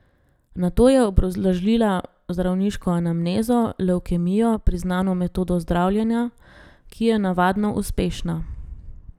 Nato je obrazložila zdravniško anamnezo, levkemijo, priznano metodo zdravljenja, ki je navadno uspešna.